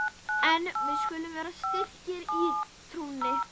En við skulum vera styrkir í trúnni!